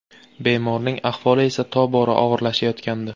Bemorning ahvoli esa, tobora og‘irlashayotgandi.